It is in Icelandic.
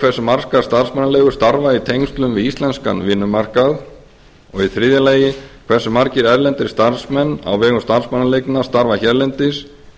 hversu margar starfsmannaleigur starfa í tengslum við íslenskan vinnumarkað þriðja hversu margir erlendir starfsmenn á vegum starfsmannaleigna starfa hérlendis